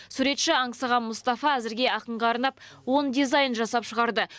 суретші аңсаған мұстафа әзірге ақынға арнап он дизайн жасап шығарды